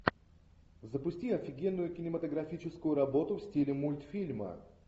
запусти офигенную кинематографическую работу в стиле мультфильма